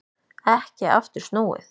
Ekki aftur snúið